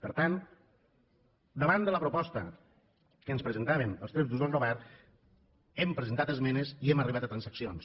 per tant davant de la proposta que ens presentaven els tres grups del govern hem presentat esmenes i hem arribat a transaccions